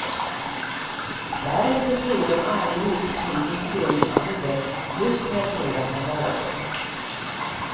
Därefter flyr de allihop in i skum handel just med sådana varor.